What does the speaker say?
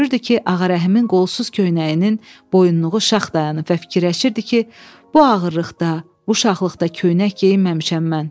Görürdü ki, Ağarəhimin qolsuz köynəyinin boyunluğu şax dayanıb və fikirləşirdi ki, bu ağırlıqda, bu şaxlıqda köynək geyinməmişəm mən.